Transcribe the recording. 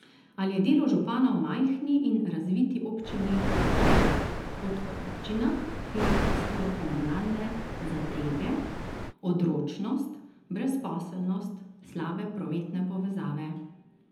Ali je delo župana v majhni in razviti občini lažje kot v občinah, kjer jih pestijo komunalne zadrege, odročnost, brezposelnost, slabe prometne povezave?